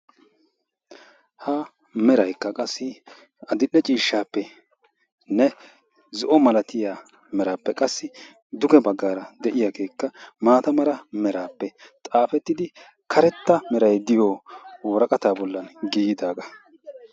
Ha meraykka qassi addil''e ciishsappenne zo'o malatiya merappe qassi xadera baggar de'iyaa maata meray diyoogappe xaafetiddi karetta woraqatta bollan giigidaaga.